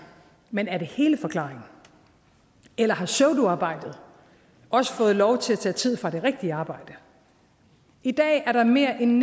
men er det hele forklaringen eller har pseudoarbejdet også fået lov til at tage tid fra det rigtige arbejde i dag er der mere end en